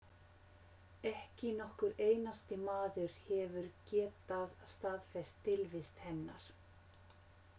Ekki nokkur einasti maður hefur getað staðfest tilvist hennar.